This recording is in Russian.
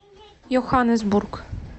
йоханнесбург